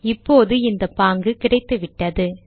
இப்போது இந்த பாங்கு கிடைத்துவிட்டது